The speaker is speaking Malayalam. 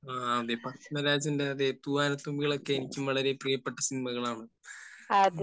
അതെ. പത്മരാജന്റെ തൂവാനത്തുമ്പികൾ ഒക്കെ എനിക്കും വളരെ പ്രിയപ്പെട്ട സിനിമകളാണ്.